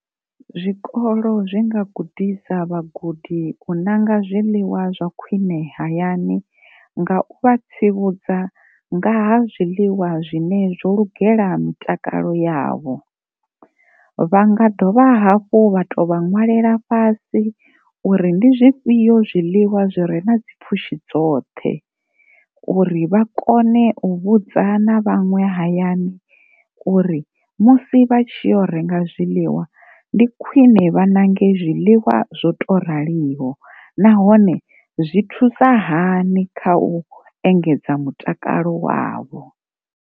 Zwikolo zwi nga gudisa vhagudi u nanga zwiḽiwa zwa khwine hayani nga u vha tsivhudza nga ha zwiḽiwa zwine zwo lugela mitakalo yavho, vha nga dovha hafhu vha to vha ṅwalela fhasi uri ndi zwifhio zwiḽiwa zwe re na dzi pfhushi dzoṱhe uri vha kone u vhudza na vhaṅwe hayani uri musi vha tshi ya u renga zwiḽiwa vha nange zwiḽiwa zwo to raliho na hone zwi thusa hani kha u engedza mutakalo wavho.